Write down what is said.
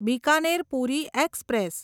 Bikaner Puri express